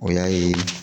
O y'a ye